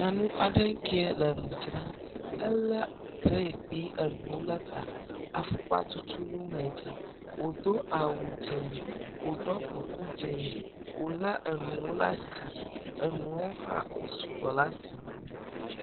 Nyɔnu aɖe ŋkee le nu dzram elé trɛ kpli enuwo le ta, afukpa tutunu le edzi, wòdo awu dzɛ wòɖɔ kuku dzɛ, wòlé enuwo hã wosu gbɔ le asi ŋti nɛ.